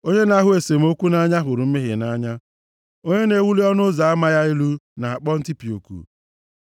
Onye na-ahụ esemokwu nʼanya hụrụ mmehie nʼanya. Onye na-ewuli ọnụ ụzọ ama ya elu na-akpọ ntipịa oku.